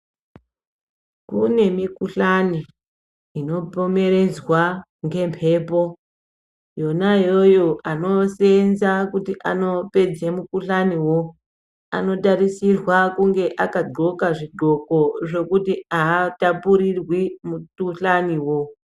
Kune mikuhlani ino pomheredzwa nge mbepo yona yoyo anosenza kuti anopedze mu kuhlani woo ano tarisirwa kunge aka ndxoka zvi ndxoko zvokuti atapurirwi mu kuhlani wo.